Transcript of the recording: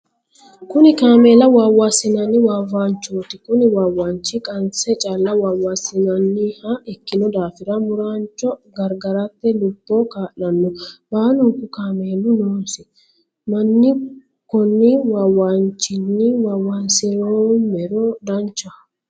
Kunni kaameela waawansi'nanni waawanchooti kunni waawanchi qanse calla waawansinnanniha ikino daafira muuraancho garigarate lubo kaa'lano. Baalunku kaameelu noosi manni konni waawanchinni waawansiroomero danchaho.